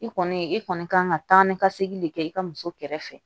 I kɔni i kɔni kan ka taa ni ka segin de kɛ i ka muso kɛrɛfɛ